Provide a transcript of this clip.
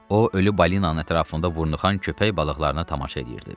O ölü balinanın ətrafında vurnuxan köpək balıqlarına tamaşa eləyirdi.